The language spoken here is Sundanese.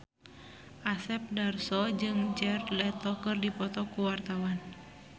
Asep Darso jeung Jared Leto keur dipoto ku wartawan